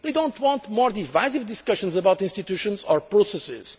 They do not want more divisive discussions about institutions or processes.